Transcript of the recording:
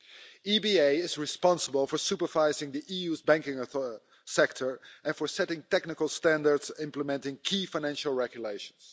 The EBA is responsible for supervising the EU's banking sector and for setting technical standards implementing key financial regulations.